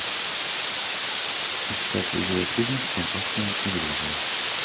искать видеофильм опасная иллюзия